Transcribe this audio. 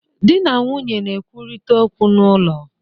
Di na nwunye na-ekwurịta okwu n'ụlọ.